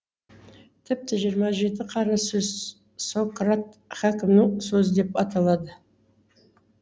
тіпті жиырма жеті қара сөз сократ хәкімнің сөзі деп аталады